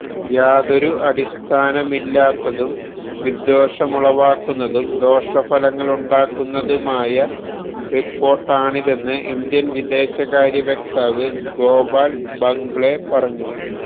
യാതൊരു അടിസ്ഥാനമില്ലാത്തതും വിദ്വേഷമുളവാക്കുന്നതും ദോഷഫലങ്ങളുണ്ടാക്കുന്നതുമായ റിപ്പോര്ട്ടാണിതെന്ന് ഇന്ത്യന് വിദേശകാര്യ വക്താവ് ഗോപാല് ബംഗ്ലേ പറഞ്ഞു